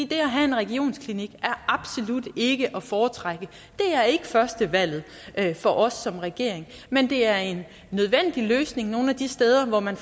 det at have en regionsklinik er absolut ikke at foretrække det er ikke førstevalget for os som regering men det er en nødvendig løsning nogle af de steder hvor man